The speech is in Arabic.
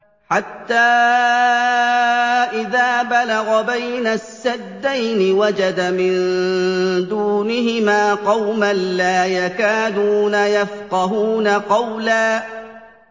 حَتَّىٰ إِذَا بَلَغَ بَيْنَ السَّدَّيْنِ وَجَدَ مِن دُونِهِمَا قَوْمًا لَّا يَكَادُونَ يَفْقَهُونَ قَوْلًا